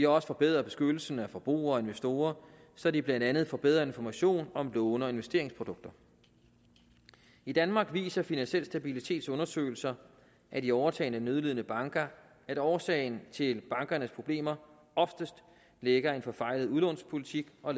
også forbedret beskyttelsen af forbrugere og investorer så de blandt andet får bedre information om låne og investeringsprodukter i danmark viser finansiel stabilitets undersøgelser af de overtagne nødlidende banker at årsagen til bankernes problemer oftest ligger i en forfejlet udlånspolitik og